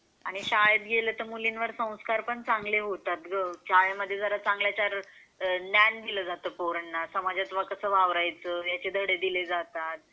आणि शाळेत गेले तर मुलींवर संस्कार पण चांगले होतात ग शाळा मध्ये जरा चांगल्या यांचावर ध्यान दिला जाते पोरांना समाजामध्ये कसा वावरायचं याचे धडे दिले जातात.